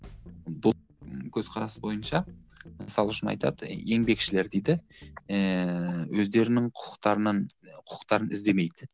бұл көзқарас бойынша мысалы үшін айтады еңбекшілер дейді ііі өздерінің құқықтарынан құқықтарын іздемейді